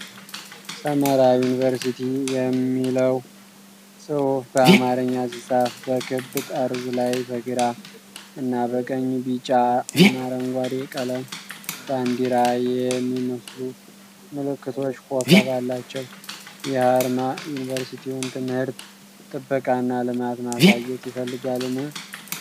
ሰመራ ዩኒቨርሲቲ" የሚለው ጽሑፍ በአማርኛ ሲጻፍ፣ በክብ ጠርዝ ላይ በግራ እና በቀኝ የቢጫ እና አረንጓዴ ቀለም ባንዲራ የሚመስሉ ምልክቶች ኮከብ አላቸው። ይህ አርማ የዩኒቨርሲቲውን ትምህርት፣ ጥበቃ እና ልማት ማሳየት ይፈልጋልን?